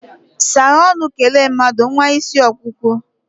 saghe ọnu, kele mmadu, nwa isi okpukpu!